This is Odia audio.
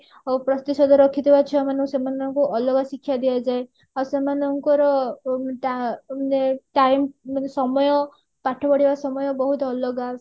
ପ୍ରତିଶତ ରଖିଥିବା ଛୁଆ ମାନଙ୍କୁ ସେମାନଙ୍କୁ ଅଲଗା ଶିକ୍ଷା ଦିଆଯାଏ ଆଉ ସେମାନଙ୍କର ଡ ଏ time ମାନେ ସମୟ ପାଠ ପଢିବା ସମୟ ବହୁତ ଅଲଗା